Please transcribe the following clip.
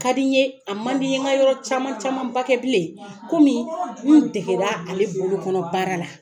ka di n ye a man di n ye n ka yɔrɔ caman camanba kɛ bilen komi n degera ale bolokɔnɔ baara la.